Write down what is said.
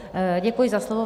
Děkuji za slovo.